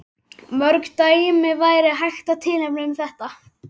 Mörg dæmi væri hægt að tilnefna um þetta.